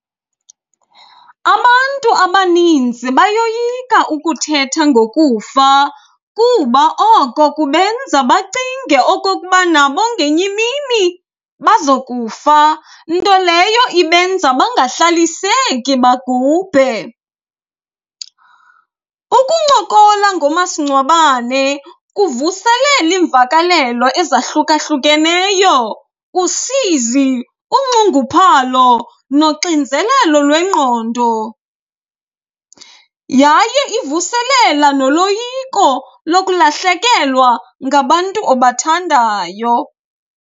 Abantu abaninzi bayoyika ukuthetha ngokufa kuba oko kubenza bacinge okokuba nabo ngenye imini bazokufa, nto leyo ibenza bangahlaliseki bagubhe. Ukuncokola ngomasingcwabane kuvuselela iimvakalelo ezahlukahlukeneyo, usizi, unxunguphalo noxinzelelo lwengqondo yaye ivuselela noloyiko lokulahlekelwa ngabantu obathandayo.